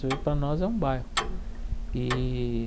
para nós é um bairro e.